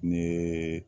Ni